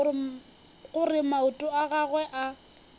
gore maoto a gagwe a